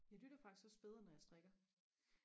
jeg lytter faktisk også bedre når jeg strikker